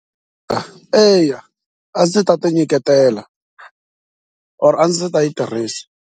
A eya a ndzi ta ti nyiketela or a ndzi ta yi tirhisa.